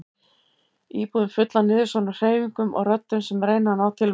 Íbúðin full af niðursoðnum hreyfingum og röddum sem reyna að ná til manns.